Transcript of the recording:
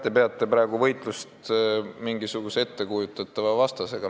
Te peate praegu võitlust mingisuguse ettekujutatava vastasega.